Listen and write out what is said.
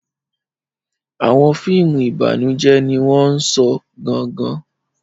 Àwọn fíìmù ìbànújẹ́ ni wọ́n sọ gan-an.